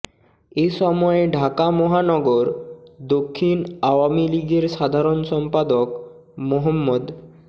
এসময় ঢাকা মহানগর দক্ষিণ আওয়ামী লীগের সাধারণ সম্পাদক মো